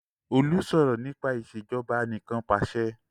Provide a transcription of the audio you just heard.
Olú sọ̀rọ̀ nípa Ìṣèjọba Anìkanpàṣẹ